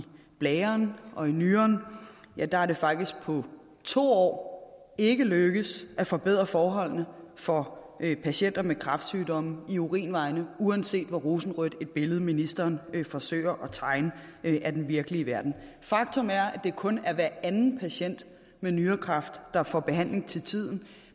blæren og i nyren der er det faktisk på to år ikke lykkedes at forbedre forholdene for patienter med kræftsygdomme i urinvejene uanset hvor rosenrødt et billede ministeren forsøger at tegne af den virkelige verden faktum er at det kun er hver anden patient med nyrekræft der får behandling til tiden